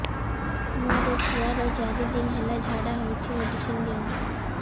ମୋର ଛୁଆର ଚାରି ଦିନ ହେଲା ଝାଡା ହଉଚି ମେଡିସିନ ଦିଅନ୍ତୁ